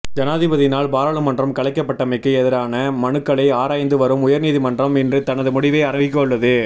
ஜனாதிபதியினால் பாராளுமன்றம் கலைக்கப்பட்டமைக்கு எதிரான மனுக்களை ஆராய்ந்து வரும் உயர்நீதிமன்றம் இன்று தனது முடிவை அறிவிக்கவுள்ளது